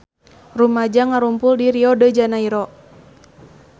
Rumaja ngarumpul di Rio de Janairo